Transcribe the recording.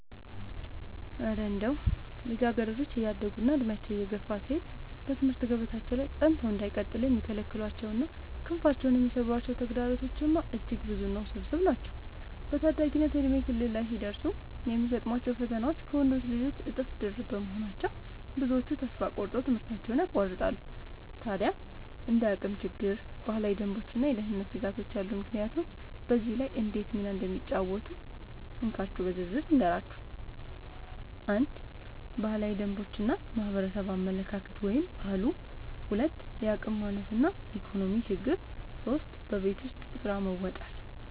እረ እንደው ልጃገረዶች እያደጉና ዕድሜያቸው እየገፋ ሲሄድ በትምህርት ገበታቸው ላይ ጸንተው እንዳይቀጥሉ የሚከለክሏቸውና ክንፋቸውን የሚሰብሯቸው ተግዳሮቶችማ እጅግ ብዙና ውስብስብ ናቸው! በታዳጊነት የእድሜ ክልል ላይ ሲደርሱ የሚገጥሟቸው ፈተናዎች ከወንዶች ልጆች እጥፍ ድርብ በመሆናቸው፣ ብዙዎቹ ተስፋ ቆርጠው ትምህርታቸውን ያቋርጣሉ። ታዲያ እንደ የአቅም ችግር፣ ባህላዊ ደንቦችና የደህንነት ስጋቶች ያሉ ምክንያቶች በዚህ ላይ እንዴት ሚና እንደሚጫወቱ እንካችሁ በዝርዝር ልንገራችሁ፦ 1. ባህላዊ ደንቦች እና የማህበረሰብ አመለካከት (ባህሉ) 2. የአቅም ማነስ እና የኢኮኖሚ ችግር 3. በቤት ውስጥ ስራ መወጠር መወጠር